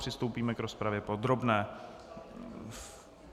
Přistoupíme k rozpravě podrobné.